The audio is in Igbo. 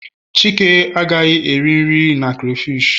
chike agaghị eri nri na crayfish